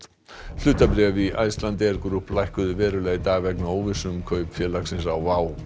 hlutabréf í Icelandair Group lækkuðu verulega í dag vegna óvissu um kaup félagsins á